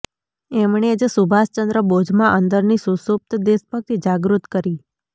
એમણે જ સુભાષચંદ્ર બોઝમાં અંદરની સુષુપ્ત દેશભક્તિ જાગૃત કરી